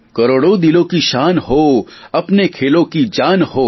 કરોડો દિલોં કી શાન હો અપને ખેલોં કી જાન હો